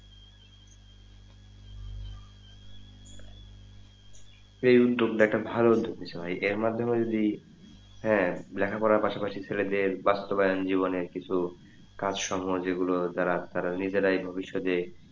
এই উদ্যোগ একটা ভালো উদ্যোগ দিসো ভাই এর মাধ্যমে যদি হ্যাঁ লেখা পড়া পাশাপাশি ছেলেদের বাস্তবায়ন জীবনের কিছু কাজ সম্পর্কে যেগুলো দ্বারা তারা নিজেরাই ভবিষৎ এ,